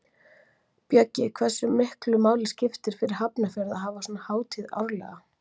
Bjöggi, hversu miklu máli skiptir fyrir Hafnarfjörð að hafa svona hátíð árlega?